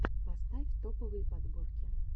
поставь топовые подборки